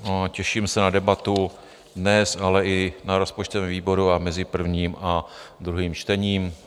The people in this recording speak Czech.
Těším se na debatu dnes, ale i na rozpočtovém výboru a mezi prvním a druhým čtením.